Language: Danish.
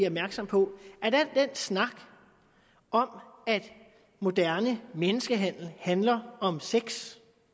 opmærksom på at al den snak om at moderne menneskehandel handler om sex